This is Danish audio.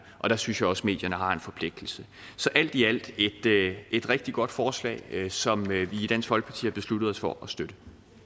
og der synes jeg også medierne har en forpligtelse så alt i alt er det et rigtig godt forslag som vi i dansk folkeparti har besluttet os for at støtte